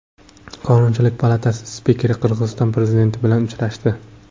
Qonunchilik palatasi spikeri Qirg‘iziston prezidenti bilan uchrashdi.